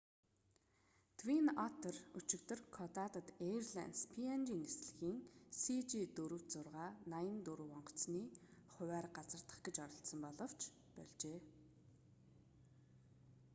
твин оттер өчигдөр кокодад эйрлайнс png нислэгийн cg4684 онгоцны хувиар газардах гэж оролдсон боловч больжээ